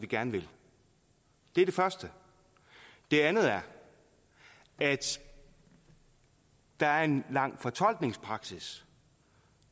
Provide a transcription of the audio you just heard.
gerne vil det er det første det andet er at der er en lang fortolkningspraksis